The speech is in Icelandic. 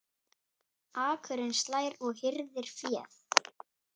Akurinn slær og hirðir féð.